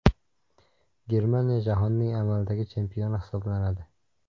Germaniya jahonning amaldagi chempioni hisoblanadi.